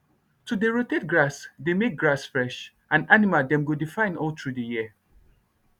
to dey rotate grass dey make grass fresh and animal dem go dey fine all through the year